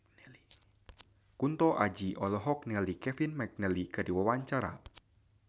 Kunto Aji olohok ningali Kevin McNally keur diwawancara